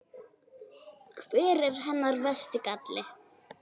Hver er hennar versti galli?